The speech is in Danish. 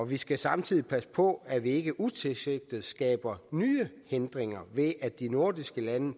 vi skal samtidig passe på at vi ikke utilsigtet skaber nye hindringer ved at de nordiske lande